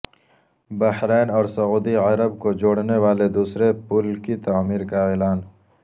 بحرین اور سعودی عرب کو جوڑنے والے دوسرے پل کی تعمیر کا اعلان